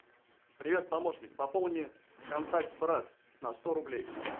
привет помощник пополни контакт брат на сто рублей